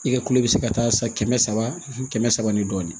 I ka kulo bɛ se ka taa san kɛmɛ saba kɛmɛ saba ni dɔɔnin